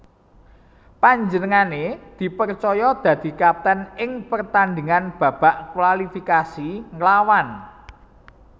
Panjenengané dipercaya dadi kapten ing pertandhingan babak kualifikasi nglawan